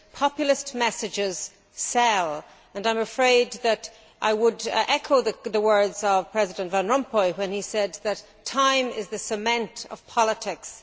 Populist messages sell and I am afraid that I would echo the words of President Von Rompuy when he said that time is the cement of politics'.